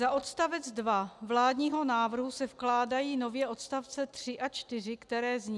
Za odstavec 2 vládního návrhu se vkládají nově odstavce 3 a 4, které zní: